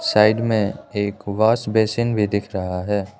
Side में एक wash basin भी दिख रहा है।